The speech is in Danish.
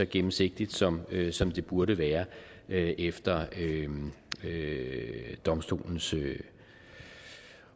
gennemsigtigt som det som det burde være efter eu domstolens